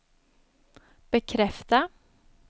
bekräfta